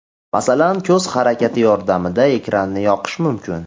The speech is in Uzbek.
Masalan, ko‘z harakati yordamida ekranni yoqish mumkin.